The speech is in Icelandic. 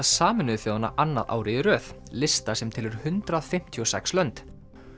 Sameinuðu þjóðanna annað árið í röð lista sem telur hundrað fimmtíu og sex lönd